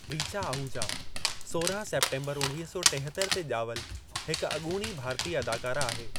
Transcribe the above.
रीचा आहुजा सोरहां सेप्टेम्बरु उणवीह सौ टिहतर ते ॼावल हिक अॻूणी भारती अदाकारा आहे।